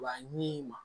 Wa ɲi ma